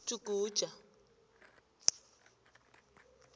ujuguja